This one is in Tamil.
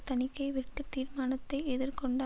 தணிக்கை வெட்டுத் தீர்மானத்தை எதிர் கொண்ட